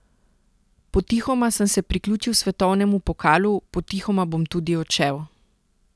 Potihoma sem se priključil svetovnemu pokalu, potihoma bom tudi odšel.